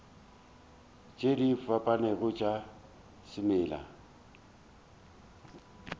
tše di fapanego tša semela